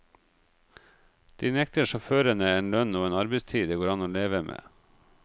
De nekter sjåførene en lønn og en arbeidstid det går an å leve med.